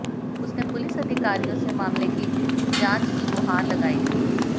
उसने पुलिस अधिकारियों से मामले की जांच की गुहार लगाई थी